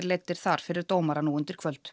leiddir þar fyrir dómara nú undir kvöld